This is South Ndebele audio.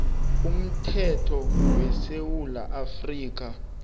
umthetho wesewula afrika